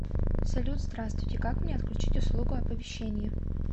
салют здравствуйте как мне отключить услугу оповещение